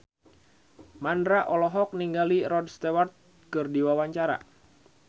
Mandra olohok ningali Rod Stewart keur diwawancara